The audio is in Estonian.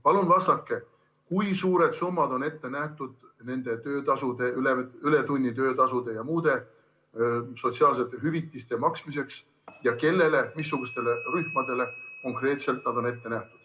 Palun vastake, kui suured summad on ette nähtud töötasude, ületunnitasude ja muude sotsiaalsete hüvitiste maksmiseks ja kellele, missugustele rühmadele konkreetselt need on ette nähtud.